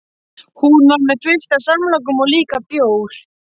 Hún var með fullt af samlokum og líka bjór.